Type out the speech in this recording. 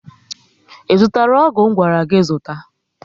I zụtara ọgwụ ngwara gị zụta?